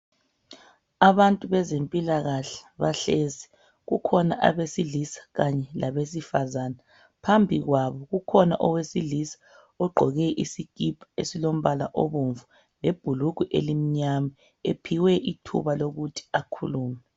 Abantu bezempilakahle bahlezi, kukhona abesilisa kanye labesifazana, phambi kwabo ukhona owesilisa ogqoke isikipa esilombala obomvu lebhulugwe elimnyama ephiwe ithuba lokuthi akhulume.